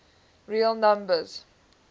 real numbers